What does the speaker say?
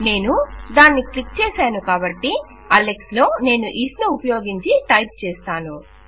నేను దాన్ని క్లిక్ చేసాను కాబట్టి అలెక్స్ లో నేను ఇఫ్ ను ఉపయోగించి టైప్ చేస్తాను